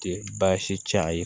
Baasi ti a ye